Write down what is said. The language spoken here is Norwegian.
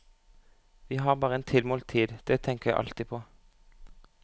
Vi har bare en tilmålt tid, det tenker jeg alltid på.